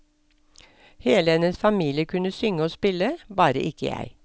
Hele hennes familie kunne synge og spille, bare ikke jeg.